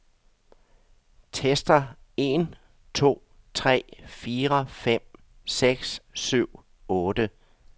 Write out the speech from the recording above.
Tester en to tre fire fem seks syv otte.